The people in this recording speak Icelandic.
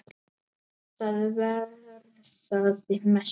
Það varðaði mestu.